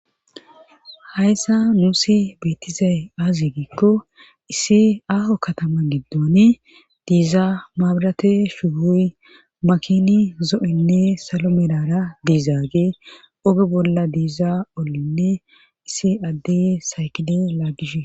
hayssa nuusi beettizay aazi giikko issi aaho katama giddoni diizaa maabirate shuugoy makini zo7inne salo merara diizaage oge bolla diiza olinne issi addey saykide laagishee.